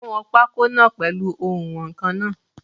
Ó wọn pákó náà pèlu oùnwọ̀nkan náà.